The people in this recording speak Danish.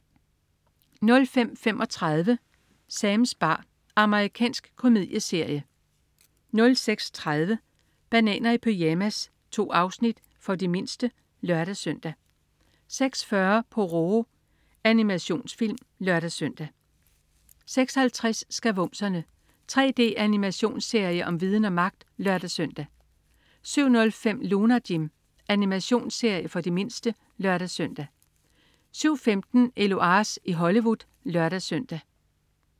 05.35 Sams bar. Amerikansk komedieserie 06.30 Bananer i pyjamas. 2 afsnit. For de mindste (lør-søn) 06.40 Pororo. Animationsfilm (lør-søn) 06.50 Skavumserne. 3D-animationsserie om viden og magt (lør-søn) 07.05 Lunar Jim. Animationsserie for de mindste (lør-søn) 07.15 Eloise i Hollywood (lør-søn)